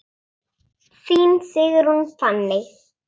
Þín Sigrún Fanney.